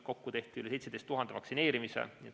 Kokku tehti üle 17 000 vaktsineerimise.